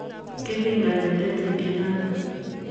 kipingani tetutiet notok.